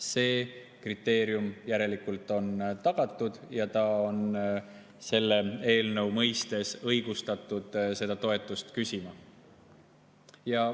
See kriteerium on järelikult täidetud ja ta on selle eelnõu mõistes õigustatud seda toetust küsima.